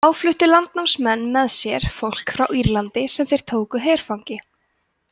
þá fluttu landnámsmenn með sér fólk frá írlandi sem þeir tóku herfangi